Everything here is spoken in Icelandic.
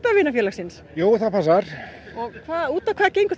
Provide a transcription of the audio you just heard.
vina félagsins út á hvað gengur það